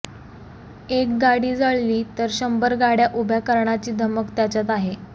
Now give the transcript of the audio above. एक गाडी जळली तर शंभर गाडया उभ्या करण्याची धमक त्याच्यात आहे